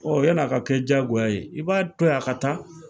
yann' a ka kɛ diyagoya ye i b'a to yen a ka taa.